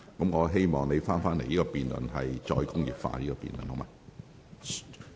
我希望你返回"再工業化"的辯論議題。